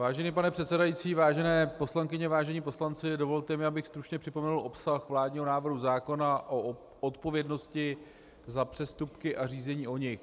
Vážený pane předsedající, vážené poslankyně, vážení poslanci, dovolte mi, abych stručně připomenul obsah vládního návrhu zákona o odpovědnosti za přestupky a řízení o nich.